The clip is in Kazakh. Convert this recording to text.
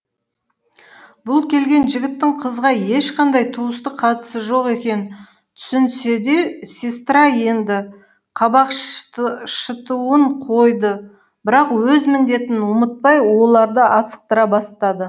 бұл келген жігіттің қызға ешқандай туыстық қатысы жоқ екенін түсінсе де сестра енді қабақ шытуын қойды бірақ өз міндетін ұмытпай оларды асықтыра бастады